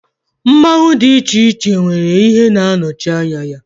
Mmanwu dị iche iche nwere ihe Ọ na-anọchi anya ya.